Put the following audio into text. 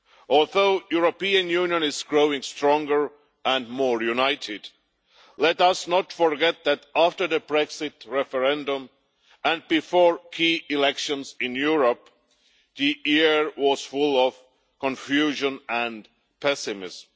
Although the European Union is growing stronger and more united, let us not forget that after the Brexit referendum and before key elections in Europe, the year was full of confusion and pessimism.